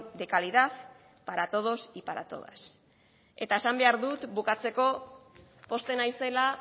de calidad para todos y para todas eta esan behar dut bukatzeko pozten naizela